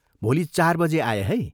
भोलि चार बजे आए है।